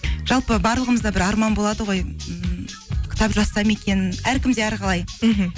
жалпы барлығымызда бір арман болады ғой ммм кітап жазсам екен әркімде әрқалай мхм